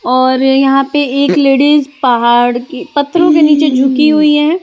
और यहां पे एक लेडिज पहाड़ की पत्थरों के नीचे झुकी हुई है।